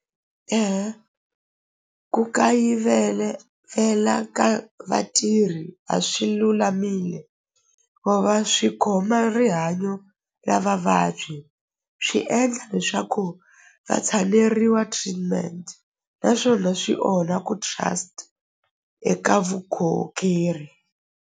Ku kayivele ka vatirhi a swi lulamile vo va swi khoma rihanyo ya vavabyi swi endla leswaku va tshameriwa treatment naswona swi onha ku trust eka .